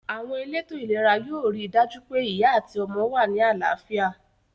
Àwon elétò ìlera yio ri dàjú pe ìyá àti ọmọ wa ni àláfíà